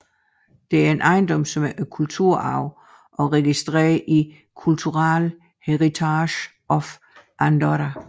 Det er en ejendom som er kulturarv og registreret i Cultural Heritage of Andorra